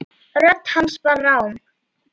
Rödd hans var rám.